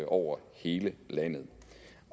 over hele landet